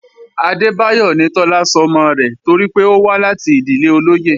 Adébáyọ̀ ni Tọ́lá sọmọ rẹ̀ torí pé ó wá láti ìdílé olóyè